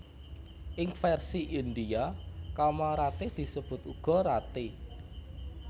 Ing versi Indhia Kamaratih disebut uga Rati